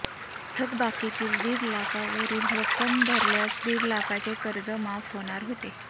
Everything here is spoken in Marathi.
थकबाकीतील दीड लाखावरील रक्कम भरल्यास दीडलाखाचे कर्ज माफ होणार होते